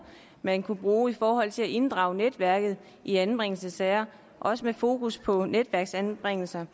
man kunne bruge i forhold til at inddrage netværket i anbringelsessager også med fokus på netværksanbringelser